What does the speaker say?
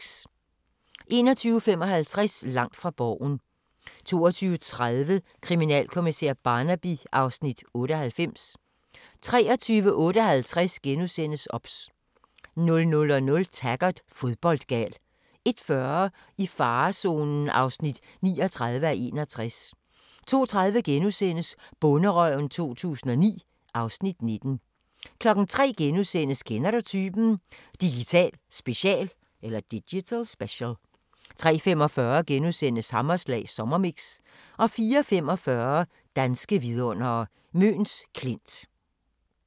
21:55: Langt fra Borgen 22:30: Kriminalkommissær Barnaby (Afs. 98) 23:58: OBS * 00:00: Taggart: Fodboldgal 01:40: I farezonen (39:61) 02:30: Bonderøven 2009 (Afs. 19)* 03:00: Kender du typen? – Digital special * 03:45: Hammerslag Sommermix * 04:45: Danske vidundere: Møns Klint *